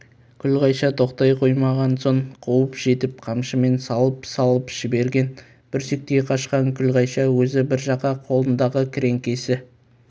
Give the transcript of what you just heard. күлғайша тоқтай қоймаған соң қуып жетіп қамшымен салып-салып жіберген бүрсектей қашқан күлғайша өзі бір жаққа қолындағы кіреңкесі